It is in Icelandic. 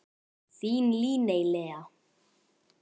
Þín Líney Lea.